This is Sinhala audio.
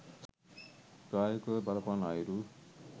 ප්‍රායෝගිකව බලපාන අයුරු